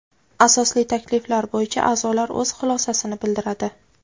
asosli takliflar bo‘yicha aʼzolar o‘z xulosasini bildiradi.